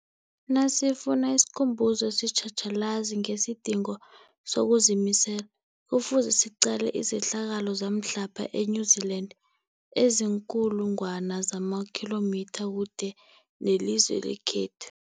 Nasifuna isikhumbuzo esitjhatjhalazi ngesidingo sokuzimisela, Kufuze siqale izehlakalo zamhlapha e-New Zealand eziinkulu ngwana zamakhilomitha kude nelizwe lekhethu.